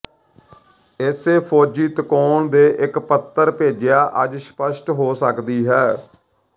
ਇਸੇ ਫੌਜੀ ਤਕੋਣ ਦੇ ਇੱਕ ਪੱਤਰ ਭੇਜਿਆ ਅੱਜ ਸਪਸ਼ਟ ਹੋ ਸਕਦੀ ਹੈ